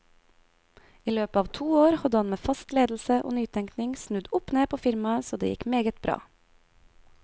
I løpet av to år hadde han med fast ledelse og nytenkning snudd opp ned på firmaet så det gikk meget bra.